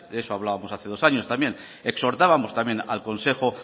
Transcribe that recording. de eso hablábamos hace dos años también exhortábamos también al consejo